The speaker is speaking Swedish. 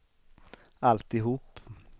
alltihop